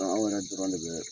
An yɛrɛ dɔrɔn ne bɛ